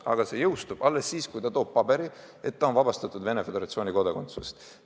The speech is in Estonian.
Aga see jõustub alles siis, kui laps toob paberi, et ta on vabastatud Venemaa Föderatsiooni kodakondsusest.